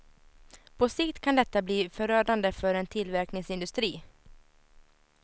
På sikt kan detta bli förödande för en tillverkningsindustri.